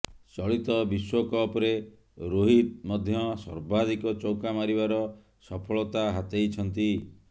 ଚଳିତ ବିଶ୍ବକପ୍ରେ ରୋହିତ ମଧ୍ୟ ସର୍ବାଧିକ ଚୌକା ମାରିବାର ସଫଳତା ହାତେଇଛନ୍ତି